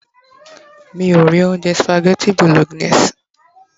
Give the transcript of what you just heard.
mi o ri ounjẹ spaghetti bolognese